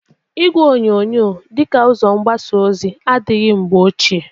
Igwe onyonyo dị ka ụzo mgbasa ozi adịrịghị mgbe ochie.